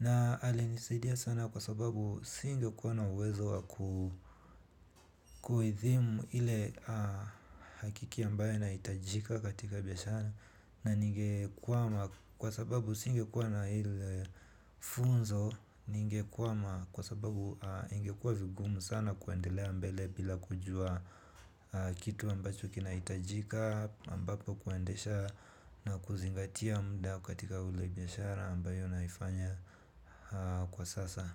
Na alinisaidia sana kwa sababu singekuwa na uwezo wa kuidhimu ile hakiki ambayo inahitajika katika biashara. Na ningekwama kwa sababu singekuwa na ile funzo. Ningekwama kwa sababu ingekuwa vigumu sana kuendelea mbele bila kujua kitu ambacho kinahitajika ambapo kuendesha na kuzingatia muda katika ule biashara ambayo naifanya kwa sasa.